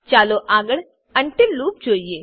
ચાલો આગળ until loop જોઈએ